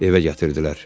Evə gətirdilər.